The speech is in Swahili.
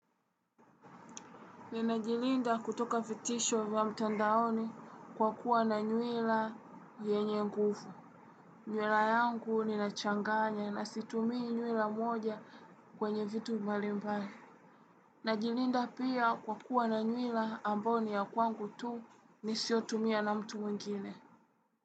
Ni na jilinda kutoka vitisho vya mtandaoni kwa kuwa na nywila yenye nguvu. Nywila yangu ni na changanya na situmii nywila moja kwenye vitu mbali mbali. Na jilinda pia kwa kuwa na nywila ambao ni ya kwangu tu nisiyotumia na mtu mwingine.